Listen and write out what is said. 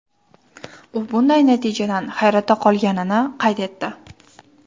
U bunday natijadan hayratda qolganini qayd etdi.